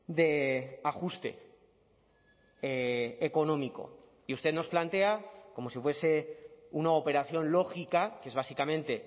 de ajuste económico y usted nos plantea como si fuese una operación lógica que es básicamente